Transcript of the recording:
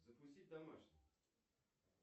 запустить домашний